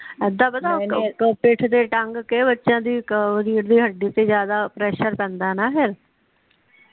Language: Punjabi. ਏਦਾਂ ਪਤਾ ਪਿੱਠ ਤੇ ਟੰਗ ਕੇ ਬੱਚਿਆਂ ਦੀ ਰੀੜ੍ਹ ਦੀ ਹੱਡੀ ਤੇ ਜਿਆਦਾ ਪ੍ਰੈਸਰ ਪੈਦਾ ਨਾ ਫਿਰ